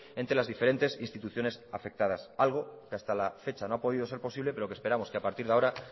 entre las diferentes instituciones afectadas algo que hasta la fecha no ha podido ser posible pero que esperamos que a partir de ahora